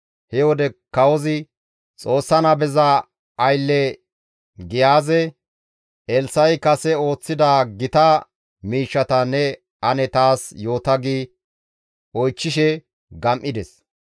He wode kawozi Xoossa nabeza aylle Giyaaze, «Elssa7i kase ooththida gita miishshata ne ane taas yoota» gi oychchishe gam7ides.